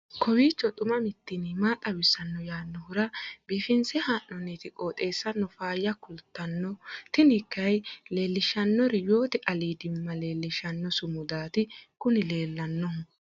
kowiicho xuma mtini maa xawissanno yaannohura biifinse haa'noonniti qooxeessano faayya kultanno tini kayi leellishshannori yoote aliidimma leellishshanno sumudaati kuni leellannohu